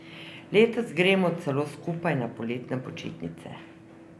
Letos gremo celo skupaj na poletne počitnice.